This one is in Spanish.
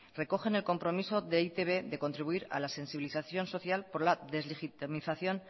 recogen el compromiso de e i te be de contribuir a la sensibilización social por la deslegitimación